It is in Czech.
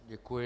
Děkuji.